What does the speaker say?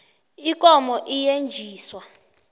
ikomo iyetjisa